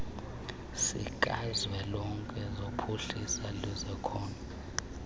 sikazwelonke sophuhliso lwezakhono